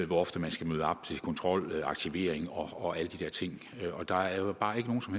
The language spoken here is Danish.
hvor ofte man skal møde op til kontrol aktivering og alle de der ting og der er bare ikke nogen som